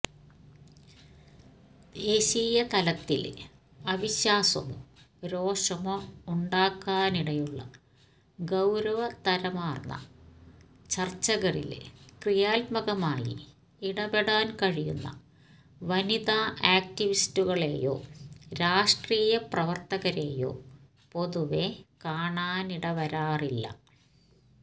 ദേശീയതലത്തില് അവിശ്വാസമോ രോഷമോ ഉണ്ടാക്കാനിടയുള്ള ഗൌരവതരമാര്ന്ന ചര്ച്ചകളില് ക്രിയാത്മകമായി ഇടപെടാന് കഴിയുന്ന വനിതാ ആക്ടിവിസ്റ്റുകളെയോ രാഷ്ട്രീയ പ്രവര്ത്തകരെയോ പൊതുവെ കാണാനിടവരാറില്ല